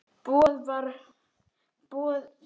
Boð þig varar hættum við.